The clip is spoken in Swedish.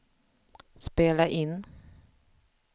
spela in